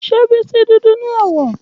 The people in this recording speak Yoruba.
Ṣe Bisi dudu ni awọ?